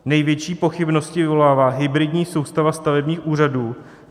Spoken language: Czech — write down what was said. Největší pochybnosti vyvolává hybridní soustava stavebních úřadů.